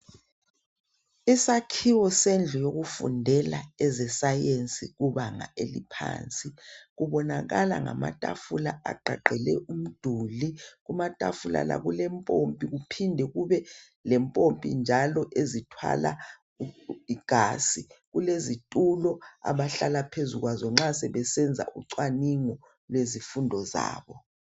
Isakhiwo sendlu yokufundela eze sayensi kubanga eliphansi kubonakala ngamatafula agqagqele umduli kumatafula la kulempompi kuphinde kube lempompi njalo ezithwala igazi kulezitulo abahlala phezu kwazo nxa sebesenza ucwaningo lwezifundo zabo.